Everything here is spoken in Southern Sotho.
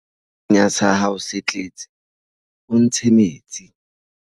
ha senya sa hao se tletse o ntshe metsi